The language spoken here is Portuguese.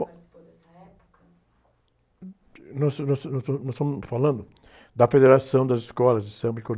Bom.articipou dessa época?) nós, nós, nós, nós estamos falando da federação das escolas de samba e